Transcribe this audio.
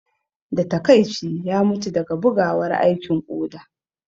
Da taƙaici, ya mutu daga bugawar aikin koda